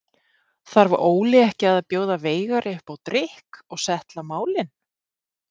Þarf Óli ekki að bjóða Veigari upp á drykk og settla málin?